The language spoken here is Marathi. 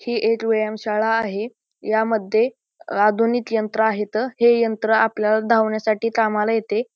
ही एक व्यायाम शाळा आहे यामध्ये आधुनिक यंत्र आहेत हे यंत्र आपल्याला धावण्यासाठी कामाला येते.